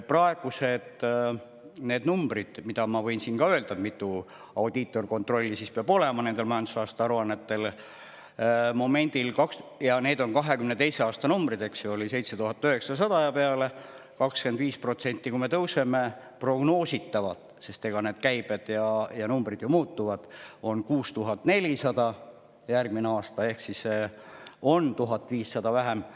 Praegused numbrid, mida ma võin siin ka öelda, mitu audiitorkontrolli peab olema nendel majandusaasta aruannetel – ja need on 2022. aasta numbrid –, on 7900 ja peale, 25% järgmisel aastal teeb prognoositavalt – sest need käibed ja numbrid ju muutuvad – 6400 ehk 1500 vähem.